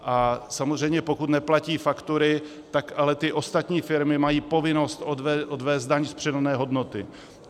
A samozřejmě pokud neplatí faktury, tak ale ty ostatní firmy mají povinnost odvést daň z přidané hodnoty.